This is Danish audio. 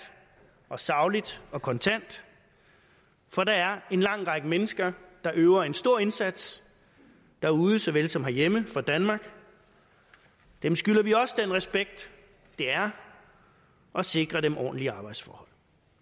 og sagligt og kontant for der er en lang række mennesker der yder en stor indsats derude såvel som herhjemme for danmark dem skylder vi også den respekt det er at sikre dem ordentlige arbejdsforhold